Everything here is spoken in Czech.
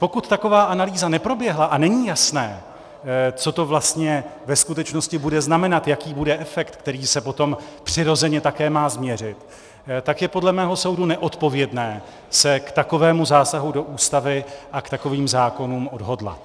Pokud taková analýza neproběhla a není jasné, co to vlastně ve skutečnosti bude znamenat, jaký bude efekt, který se potom přirozeně také má změřit, tak je podle mého soudu neodpovědné se k takovému zásahu do Ústavy a k takovým zákonům odhodlat.